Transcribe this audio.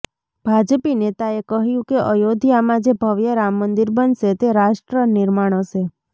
ભાજપી નેતાએ કહ્યું કે અયોધ્યામાં જે ભવ્ય રામ મંદિર બનશે તે રાષ્ટ્ર નિર્માણ હશે